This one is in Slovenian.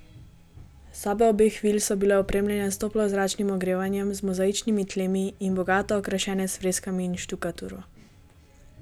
Sobe obeh vil so bile opremljene s toplozračnim ogrevanjem, z mozaičnimi tlemi in bogato okrašene s freskami in štukaturo.